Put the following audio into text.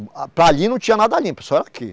Para ali não tinha nada limpo, só era aqui.